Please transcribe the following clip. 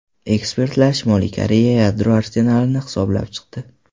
Ekspertlar Shimoliy Koreya yadro arsenalini hisoblab chiqdi.